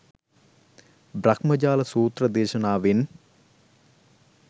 බ්‍රහ්මජාල සූත්‍ර දේශනාවෙන්